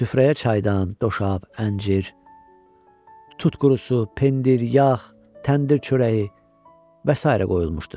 Süfrəyə çaydan, doşab, əncir, tut qurusu, pendir, yağ, təndir çörəyi və sairə qoyulmuşdu.